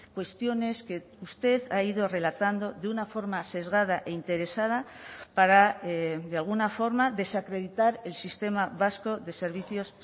cuestiones que usted ha ido relatando de una forma sesgada e interesada para de alguna forma desacreditar el sistema vasco de servicios